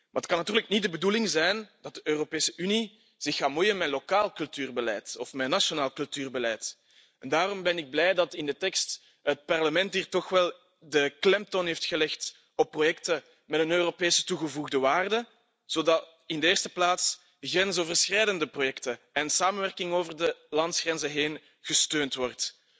Maar het kan natuurlijk niet de bedoeling zijn dat de Europese Unie zich gaat bemoeien met lokaal cultuurbeleid of met nationaal cultuurbeleid en daarom ben ik blij dat het Parlement in de tekst de klemtoon heeft gelegd op projecten met een Europese toegevoegde waarde, zodat in de eerste plaats grensoverschrijdende projecten en samenwerking over de landsgrenzen heen gesteund worden.